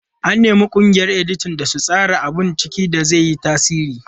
An nemi ƙungiyar editan da su tsara abun ciki da zai yi tasiri.